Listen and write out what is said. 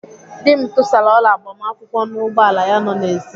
Dị m tụsara ọla agbamakwụkwọ n'ụgbọala ya nọ n'èzí.